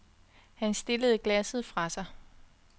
Han stillede glasset fra sig.